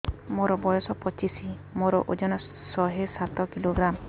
ମୋର ବୟସ ପଚିଶି ମୋର ଓଜନ ଶହେ ସାତ କିଲୋଗ୍ରାମ